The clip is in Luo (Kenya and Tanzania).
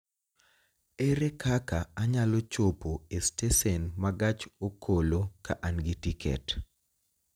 Ere kaka anyalo chopo e stesen ma gach okoloka an gi tiket?